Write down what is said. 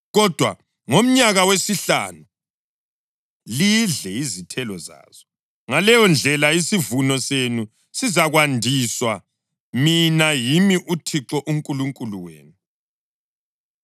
Kodwa ngomnyaka wesihlanu lidle izithelo zazo. Ngaleyondlela, isivuno senu sizakwandiswa. Mina yimi uThixo uNkulunkulu wenu.